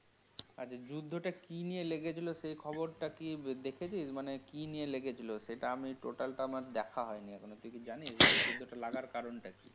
আছে যুদ্ধটা কি নিয়ে লেগেছিলো সেই খবরটা কি দেখেছিস? মানে কি নিয়ে লেগেছিল? সেটা আমি Total টা আমার দেখা হয়নি এখনও । তুই কি জানিস যুদ্ধটা লাগার কারণটা কি?